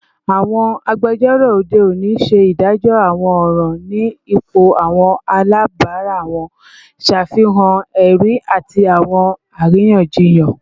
Awọn agbẹjọro ode oni ṣe idajọ awọn ọran ni ipo awọn alabara wọn, ṣafihan ẹri ati awọn ariyanjiyan